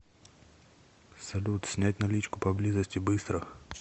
салют снять наличку поблизости быстро